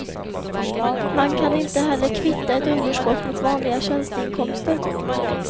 Man kan inte heller kvitta ett underskott mot vanliga tjänsteinkomster.